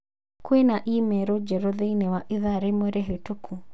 Kwĩna i-mīrū njerũ thĩinĩ wa ĩthaa rĩmwe rĩhĩtũku